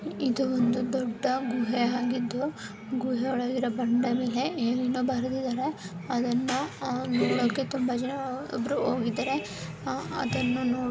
ಇದು ಒಂದು ದೊಡ್ಡ ಗುಹೆ ಆಗಿದ್ದು ಗುಹೆ ಒಳಗೆ ಇರುವ ಬಂಡೆ ಮೇಲೆ ಏನೇನೋ ಬರೆದಿದ್ದಾರೆ ಅದನ್ನ ನೋಡೋಕೆ ತುಂಬಾ ಜನ ಒಬ್ಬರು ಹೋಗಿದ್ದಾರೆ ಆ ಅದನ್ನ ನೋಡೋಕೆ --